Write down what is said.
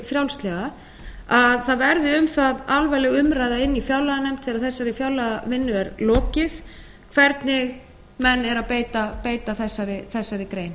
frjálslega að það verði um það alvarleg umræða inni í fjárlaganefnd þegar þessari fjárlagavinnu er lokið hvernig menn eru að beita þessari grein